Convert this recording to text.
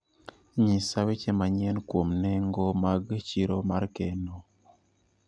Nyisa weche manyien kuom nengo mag chiro mar keno